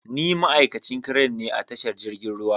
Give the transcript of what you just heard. Ni ma'aikacin crane ne a tashar jirgin ruwa.